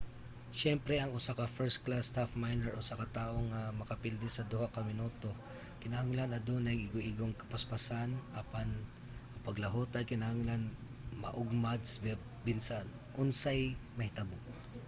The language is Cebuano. siyempre ang usa ka first-class half-miler usa ka tawo nga makapilde sa duha ka minuto kinahanglan adunay igoigong kapaspason apan ang paglahutay kinahanglan maugmad sa bisan unsay mahitabo